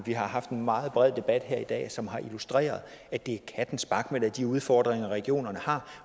vi har haft en meget bred debat her i dag som har illustreret at det kattensparkemig er de udfordringer regionerne har